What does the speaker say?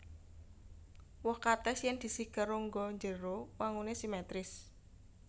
Woh katès yèn disigar rongga njero wanguné simetris